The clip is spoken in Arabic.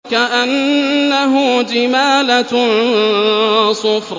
كَأَنَّهُ جِمَالَتٌ صُفْرٌ